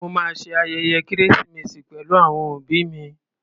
Mo ma ṣe ayẹyẹ kérésìmesì pẹ̀lú àwọn òbí mi.